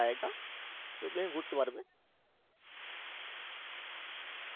জায়গা সেটু তুমি ঘুরতে পারবে